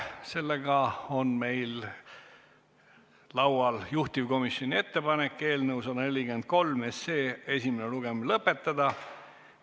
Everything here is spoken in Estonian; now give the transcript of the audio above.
Meil on laual juhtivkomisjoni ettepanek eelnõu 143 esimene lugemine lõpetada.